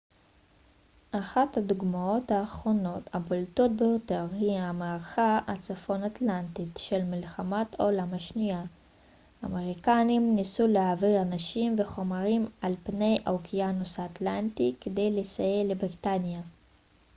אחת הדוגמאות האחרונות הבולטות ביותר היא המערכה הצפון אטלנטית של מלחמת העולם השנייה האמריקנים ניסו להעביר אנשים וחומרים על פני האוקיינוס האטלנטי כדי לסייע לבריטניה